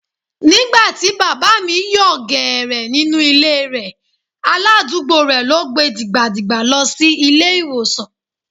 Nígbà tí Bàbá mi yòò gẹ̀rẹ̀ nínú ilé e rẹ̀, aládùúgbò rẹ̀ ló gbe dìgbà dìgbà lọ sí ilé ìwòsàn.